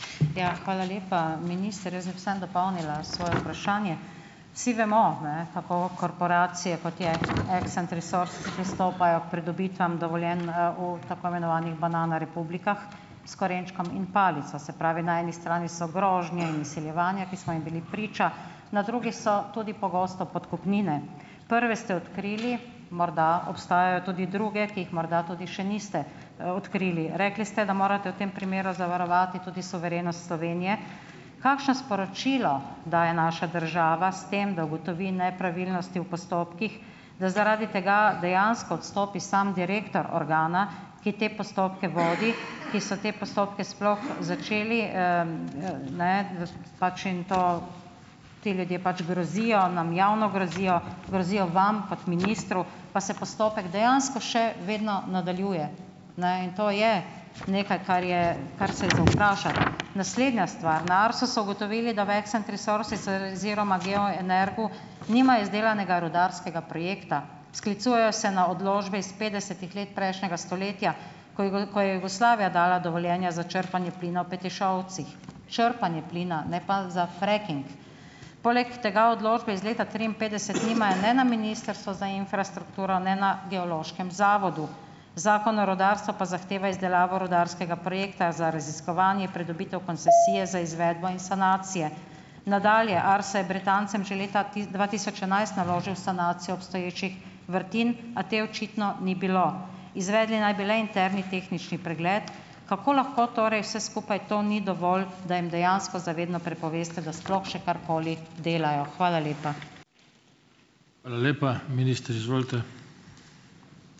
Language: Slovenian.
Ja, hvala lepa, minister. Jaz bi samo dopolnila svoje vprašanje. Vsi vemo, ne, kako korporacije kot je Accent Resources pristopajo k pridobitvam dovoljenj, v tako imenovanih banana republikah, s korenčkom in palico. Se pravi, na eni strani so grožnje in izsiljevanja, ki smo jim bili priča, na drugi so tudi pogosto podkupnine. Prve ste odkrili, morda obstajajo tudi druge, ki jih morda tudi še niste, odkrili. Rekli ste, da morate v tem primeru zavarovati tudi suverenost Slovenije. Kakšno sporočilo daje naša država s tem, da ugotovi nepravilnosti v postopkih, da zaradi tega dejansko odstopi samo direktor organa, ki te postopke vodi, ki so te postopke sploh začeli, ne, pač in to ti ljudje pač grozijo, nam javno grozijo, grozijo vam kot ministru, pa se postopek dejansko še vedno nadaljuje? Ne, in to je nekaj, kar je kar se je za vprašati. Naslednja stvar. Na Arsu so ugotovili, da v Accent Resources oziroma Geoenergu nimajo izdelanega rudarskega projekta. Sklicujejo se na odločbe iz petdesetih let prejšnjega stoletja, ko ko je Jugoslavija dala dovoljenja za črpanje plina v Petišovcih. Črpanje plina, ne pa za fracking. Poleg tega odločbe iz leta triinpetdeset nimajo ne na Ministrstvu za infrastrukturo ne na Geološkem zavodu. Zakon o rudarstvu pa zahteva izdelavo rudarskega projekta za raziskovanje, pridobitev koncesije za izvedbo in sanacije. Nadalje, Arso je Britancem že leta dva tisoč enajst naložil sanacijo obstoječih vrtin, a te očitno ni bilo. Izvedli naj bi le interni tehnični pregled. Kako lahko torej vse skupaj to ni dovolj, da jim dejansko za vedno prepoveste, da sploh še karkoli delajo. Hvala lepa.